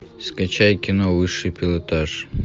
скачай кино высший пилотаж